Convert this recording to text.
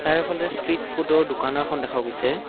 বাহিৰৰফালে street ফুডৰ দোকান এখন দেখা গৈছে।